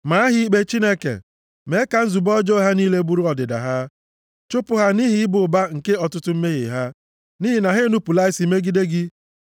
Maa ha ikpe, Chineke. Mee ka nzube ọjọọ ha niile bụrụ ọdịda ha. Chụpụ ha nʼihi ịba ụba nke ọtụtụ mmehie ha, nʼihi na ha enupula isi megide gị.